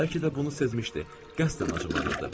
Bəlkə də bunu sezmişdi, qəsdən acıqlanırdı.